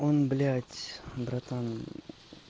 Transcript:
он блять братан